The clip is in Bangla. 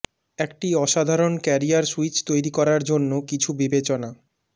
একটি অসাধারণ ক্যারিয়ার সুইচ তৈরি করার জন্য কিছু বিবেচনা